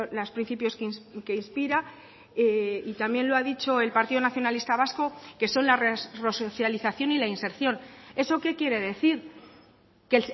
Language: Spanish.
los principios que inspira y también lo ha dicho el partido nacionalista vasco que son la resocialización y la inserción eso qué quiere decir que